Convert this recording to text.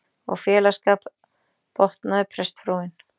Og félagsskap, botnaði prestsfrúin.